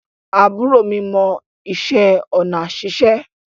Àbúrò mi mọ ìṣe onà ṣíṣe